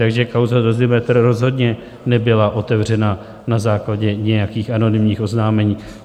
Takže kauza Dozimetr rozhodně nebyla otevřena na základě nějakých anonymních oznámení.